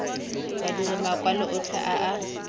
badiri makwalo otlhe a a